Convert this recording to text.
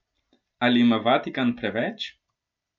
Ali ima Vatikan preveč?